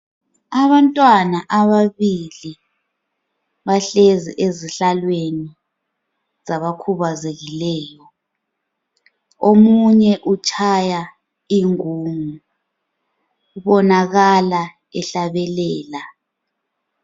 Abantwana ababili bahlezi ezihlalweni zabakhubazekileyo. Omunye utshaya ingungu. Ubonakala ehlabelela.